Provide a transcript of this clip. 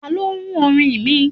tani o run orin mi?